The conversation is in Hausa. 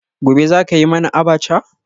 Gobe ​​zaka yi mana abacha?